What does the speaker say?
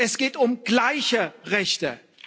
Es geht um gleiche Rechte.